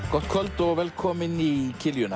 gott kvöld og velkomin í